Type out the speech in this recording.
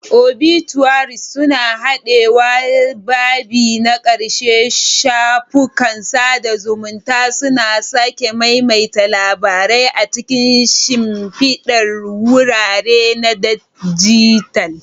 Obituaries suna raɗawa babi na ƙarshe, shafukan sada zumunta suna sake maimaita labarai a cikin shimfidar wurare na dijital.